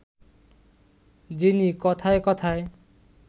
যিনি কথায় কথায়